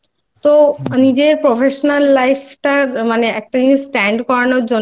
তো নিজের Professional Life টা মানে একটা জিনিস Stand